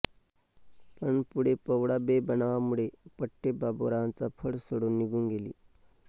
पण पुढे पवळा बेबनावामुळे पठ्ठे बापूरावांचा फड सोडून निघून गेली